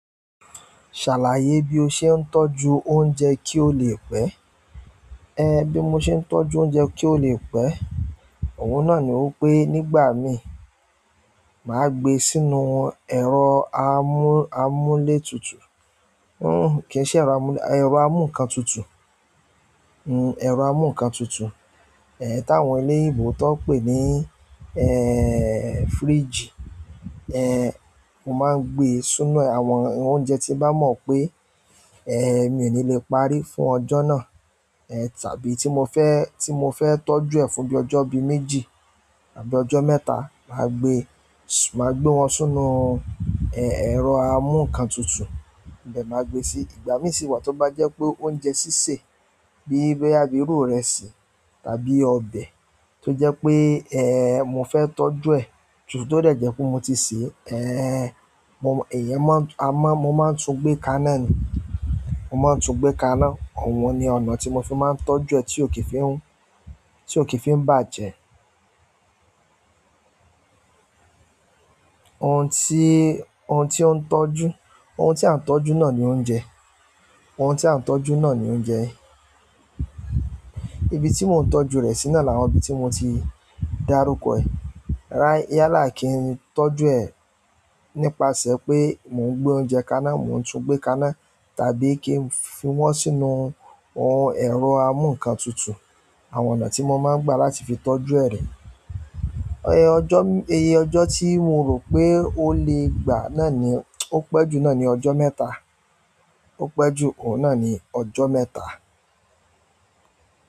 Ṣàlàyé bí o ṣe ń tọ́jú oúnjẹ kí ó lè pẹ́. Ẹ, bí mo ṣe ń tọ́jú oúnjẹ kí ó lè pẹ́, òun náà ni wípé nígbà mi, màá gbe sínú ẹ̀rọ amú, amúlétutu. Kì í ṣe ẹrọ amúlé, ẹ̀rọ amú ǹkan tutù, ẹ̀rọ amú ǹkan tutù. Ẹ, táwọn eleyinbo tọ́ n pè ní, fridge. Mo máa ń gbe sínú ẹ àwọn oúnjẹ tí bá mọ̀ pé, ẹ, mi ò ní lè parí fún ọjọ́ náà. Tàbí tí mo fẹ́, tí mo fẹ́ tọ́jú ẹ̀ fún bí ọjọ́ bí méjì àbí ọjọ́ mẹ́ta, màá gbe, màá gbé wọn sínú, ẹ, ẹ̀rọ amú ǹkan tutù, ibẹ́ẹ̀ máa gbe sí-- ìgbà mí sì wà tí ó bá jẹ́ pé oúnjẹ sísè bíi boya bi iru ìrẹsì tàbí ọbẹ̀ tó jẹ́ pé, ẹ, mo fẹ́ tọ́jú ẹ̀ ju tó dẹ jẹ pé mo ti sè e, ẹ, mo èyan máa ń, a má mo máa ń tún gbé kaná ni, mo máa ń tún gbé kaná. Òun ni ọ̀nà tí mo fi máa ń tọ́jú ẹ tí ò kì í fi hun, tí ò kì í fi hun bàjẹ́. Ohun tí, ohun tí ó ń tọ́jú, ohun tí a ń tọ́jú náà ni oúnjẹ. Ohun tí à ń tọ́jú náà ni oúnjẹ. Ibi tí mò ń tọ́jú rẹ̀ sí na làwọn ibi tí mo ti dárúkọ ẹ̀. Rárá, yálà kì n tọ́jú ẹ̀ nípasẹ̀ pé mò ń gbé oúnjẹ kaná, mò ń tún gbé kaná tàbí kí n fi wọ́n sínú ohun ẹ̀rọ amú ǹkan tutù. Àwọn ọ̀nà tí mo máa ń gbà láti fi tọ́jú ẹ̀ re ọjọ́, iye ọjọ́ tí mo rò pé ó lè gbà náà ni, ó pẹ́ jù náà ni ọjọ́ mẹ́ta. Ó pẹ́ jù, òun náà ni ọjọ́ mẹ́ta.